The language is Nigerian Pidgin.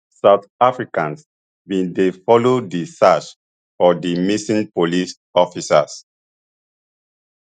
south africans bin dey follow di search for di missing police officers